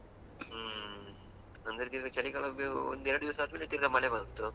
ಹ್ಮ್ ಅಂದ್ರೆ ನಿಮ್ಗೆ ಚಳಿಗಾಲ ಬೇ ಇನ್ನು ಎರಡು ದಿವಸಾದ್ಮೇಲೆ ತಿರ್ಗಾ ಮಳೆ ಬಂತು.